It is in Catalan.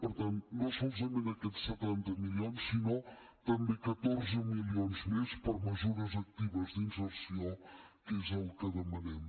per tant no solament aquests setanta milions sinó també catorze milions més per a mesures actives d’inserció que és el que demanem